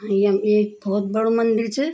यम एक भौत बडू मंदिर च।